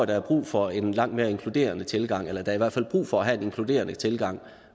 der er brug for en langt mere inkluderende tilgang eller der i hvert fald brug for at have en inkluderende tilgang